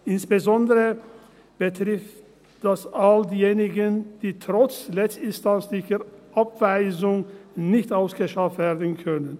Insbesondere betrifft dies all jene, welche trotz letztinstanzlicher Abweisung nicht ausgeschafft werden können.